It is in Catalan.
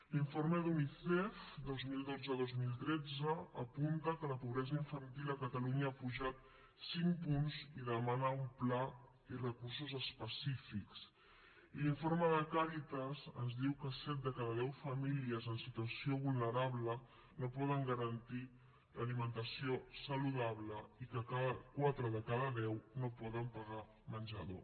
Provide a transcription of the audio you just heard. l’informe d’unicef dos mil dotzedos mil tretze apunta que la pobresa infantil a catalunya ha pujat cinc punts i demana un pla i recursos específics i l’informe de càritas ens diu que set de cada deu famílies en situació vulnerable no poden garantir l’alimentació saludable i que quatre de cada deu no poden pagar menjador